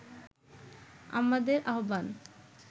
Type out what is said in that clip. আমাদের আহ্বান